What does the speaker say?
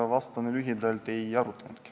Aga vastan lühidalt, et ei ole arutatud.